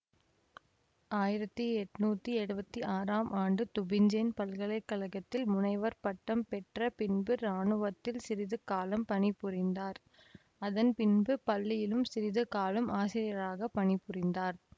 ஆயிரத்தி எட்ணூத்தி எழுவத்தி ஆறாம் ஆண்டு துபிஞ்சேன் பல்கலை கழகத்தில் முனைவர் பட்டம் பெற்ற பின்பு ராணுவத்தில் சிறிது காலம் பணிபுரிந்தார் அதன் பின்பு பள்ளியிலும் சிறிது காலம் ஆசிரியராக பணிபுரிந்தார்